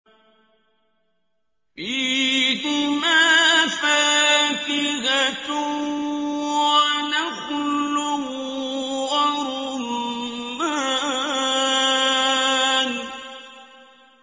فِيهِمَا فَاكِهَةٌ وَنَخْلٌ وَرُمَّانٌ